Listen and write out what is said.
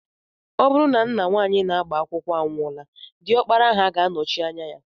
Ọ bụrụ na nna nwaanyị na-agba akwụkwọ anwụọla, diọkpara ha ga-anọchi anya ya